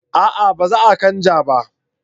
A'a ba za a canja ba